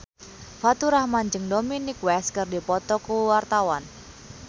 Faturrahman jeung Dominic West keur dipoto ku wartawan